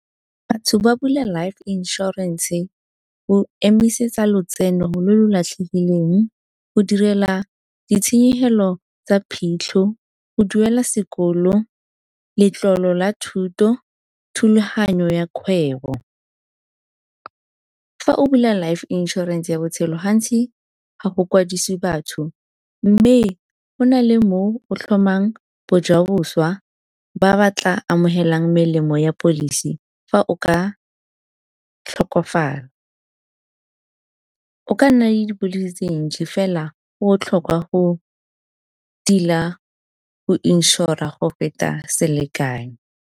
Batho ba bula life insurance go emisetsa lotseno lo lo latlhegileng, go direla ditshenyegelo tsa phitlho, go duela sekolo, letlolo la thuto, thulaganyo ya kgwebo. Fa o bula life insurance ya botshelo gantsi ga go kwadisiwe batho, mme go na le mo o tlhomang bojaboswa ba ba tla amogelang melemo ya policy fa o ka tlhokafala. O ka nna le fela go botlhokwa go tila go insure-ra go feta selekano.